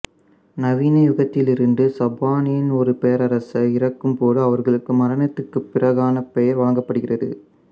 நவீன யுகத்திலிருந்து சப்பானின் ஒரு பேரரசர் இறக்கும் போது அவர்களுக்கு மரணத்திற்குப் பிறகான பெயர் வழங்கப்படுகிறது